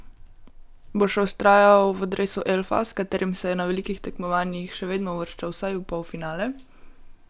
Bo še vztrajal v dresu elfa, s katerim se je na velikih tekmovanjih še vedno uvrščal vsaj v polfinale?